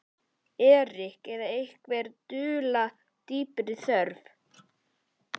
Erik eða einhverja dulda dýpri þörf.